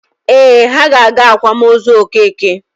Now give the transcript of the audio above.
Ee, ha ga-aga akwamozu Okeke.